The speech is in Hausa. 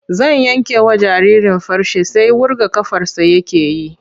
Zan yankewa jaririn farce sai wurga ƙafarsa yake yi.